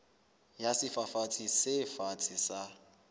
ya sefafatsi se fatshe sa